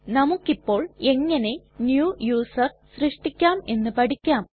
നമുക്കിപ്പോൾ എങ്ങനെ new user സൃഷ്ടിക്കാം എന്ന് പഠിക്കാം